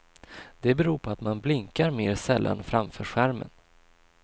Det beror på att man blinkar mer sällan framför skärmen.